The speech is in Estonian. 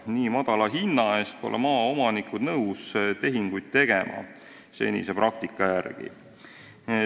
Nii madala hinna eest ei ole maaomanikud senise praktika järgi nõus tehinguid tegema.